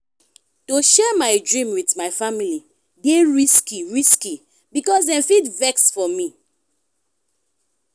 to share my dream wit my family dey risky risky because dem fit vex for me.